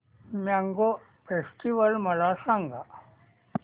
mango festival मला सांग